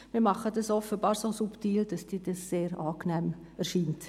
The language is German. Wir tun dies offenbar so subtil, dass Ihnen dies sehr angenehm erscheint.